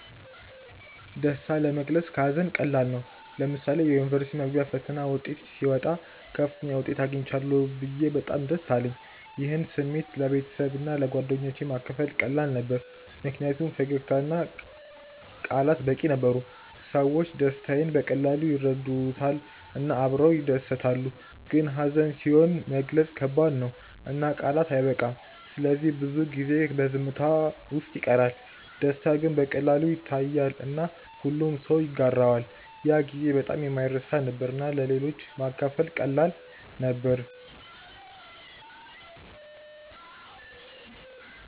ደስታ ለመግለጽ ከሀዘን ቀላል ነው። ለምሳሌ የዩኒቨርሲቲ መግቢያ ፈተና ውጤት ሲወጣ ከፍተኛ ውጤት አግኝቻለሁ ብዬ በጣም ደስ አለኝ። ይህን ስሜት ለቤተሰብና ለጓደኞቼ ማካፈል ቀላል ነበር ምክንያቱም ፈገግታ እና ቃላት በቂ ነበሩ። ሰዎች ደስታዬን በቀላሉ ይረዱታል እና አብረው ይደሰታሉ። ግን ሀዘን ሲሆን መግለጽ ከባድ ነው እና ቃላት አይበቃም ስለዚህ ብዙ ጊዜ በዝምታ ውስጥ ይቀራል። ደስታ ግን በቀላሉ ይታያል እና ሁሉም ሰው ይጋራዋል። ያ ጊዜ በጣም የማይረሳ ነበር እና ለሌሎች ማካፈል ቀላል ነበር።